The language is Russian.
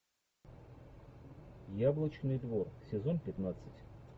яблочный двор сезон пятнадцать